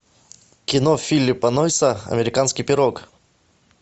кино филиппа нойса американский пирог